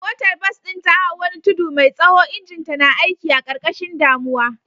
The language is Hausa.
Motar bas ɗin ta hau wani tudu mai tsaho, injinta na aiki a ƙarƙashin damuwa.